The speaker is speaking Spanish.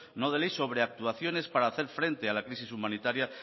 no de ley sobre actuaciones para hacer frente al a crisis humanitaria